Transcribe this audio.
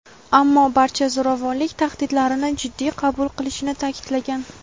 ammo barcha zo‘ravonlik tahdidlarini jiddiy qabul qilishini ta’kidlagan.